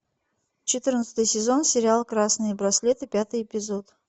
четырнадцатый сезон сериал красные браслеты пятый эпизод